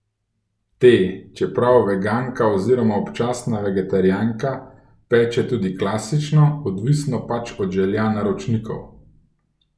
Te, čeprav veganka oziroma občasna vegetarijanka, peče tudi klasične, odvisno pač od želja naročnikov.